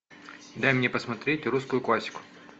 дай мне посмотреть русскую классику